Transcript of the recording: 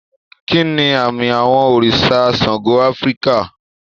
Kí ni àmì àwọ̀ òrìṣà Ṣàngó Áfíríkà?